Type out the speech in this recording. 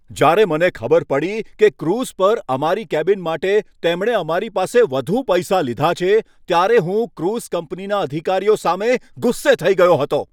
જ્યારે મને ખબર પડી કે ક્રૂઝ પર અમારી કેબિન માટે તેમણે અમારી પાસે વધુ પૈસા લીધા છે, ત્યારે હું ક્રૂઝ કંપનીના અધિકારીઓ સામે ગુસ્સે થઈ ગયો હતો.